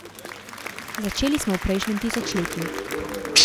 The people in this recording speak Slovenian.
Začeli smo v prejšnjem tisočletju.